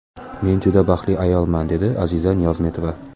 Men judayam baxtli ayolman”, dedi Aziza Niyozmetova.